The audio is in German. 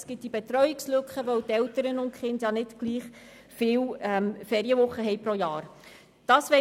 Es gibt diese Betreuungslücke, weil Eltern und Kinder pro Jahr nicht gleich viele Ferienwochen haben.